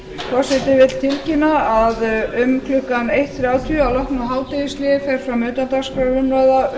forseti vill tilkynna að um klukkan eitt þrjátíu að loknu hádegishléi fer fram utandagskrárumræða